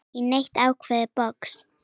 í neitt ákveðið box.